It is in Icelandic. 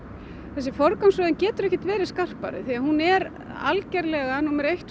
þessi forgangsröðun getur ekki verið skarpari því að hún er algjörlega númer eitt